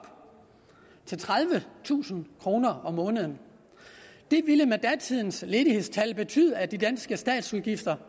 til tredivetusind kroner om måneden det ville med datidens ledighedstal betyde at de danske statsudgifter